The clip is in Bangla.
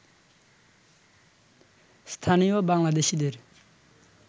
স্থানীয় বাংলাদেশিদের